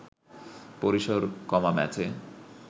পরিসর কমা ম্যাচে